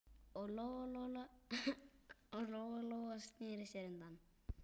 Og Lóa-Lóa sneri sér undan.